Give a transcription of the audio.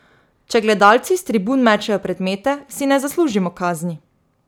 Če gledalci s tribun mečejo predmete, si ne zaslužimo kazni.